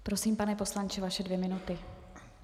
Prosím, pane poslanče, vaše dvě minuty.